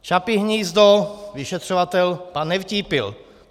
Čapí hnízdo - vyšetřovatel pan Nevtípil.